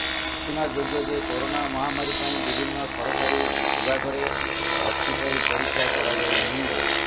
ସୂଚନାଯୋଗ୍ୟ ଯେ କରୋନା ମହାମାରୀ ପାଇଁ ବିଭିନ୍ନ ସରକାରୀ ବିଭାଗରେ ଭର୍ତ୍ତୀ ପାଇଁ ପରୀକ୍ଷା କରାଯାଇନାହିଁ